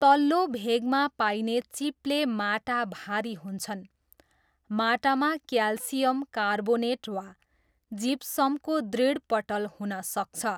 तल्लो भेगमा पाइने चिप्ले माटा भारी हुन्छन्, माटामा क्याल्सियम कार्बोनेट वा जिप्समको दृढपटल हुन सक्छ।